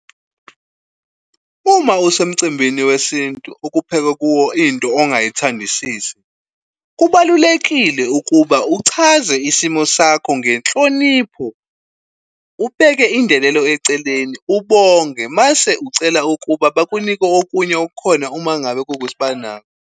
Uma usemcimbini wesintu okuphekwa kuwo into ongayithandisisi, kubalulekile ukuba uchaze isimo sakho ngenhlonipho, ubeke indelelo eceleni, ubonge mase ucela ukuba bakunike okunye okukhona uma ngabe kuwukuthi banako.